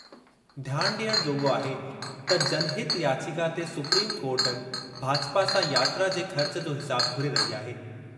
ध्यान डि॒यणु जोॻो आहे त जनहित याचिका ते सुप्रीम कोर्ट भाजपा सां यात्रा जे ख़र्च जो हिसाब घुरे रही आहे।